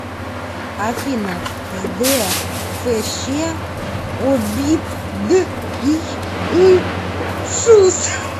афина зде фщ обипдйышус